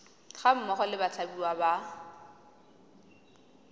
ga mmogo le bathapiwa ba